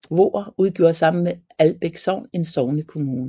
Voer udgjorde sammen med Albæk Sogn en sognekommune